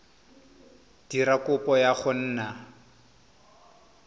dira kopo ya go nna